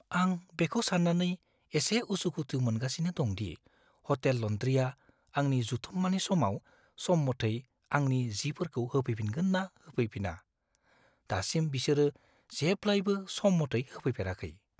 आं बेखौ सान्नानै एसे उसुखुथु मोनगासिनो दं दि, हटेल लन्ड्रीआ आंनि जथुम्मानि समाव सम मथै आंनि जिफोरखौ होफैफिनगोन ना होफैफिना। दासिम, बिसोरो जेब्लायबो सम मथै होफैफेराखै।